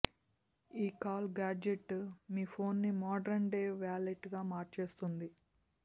ఈ call gadget మీ ఫోన్ను మోడ్రన్ డే వాలెట్లా మార్చేస్తుంది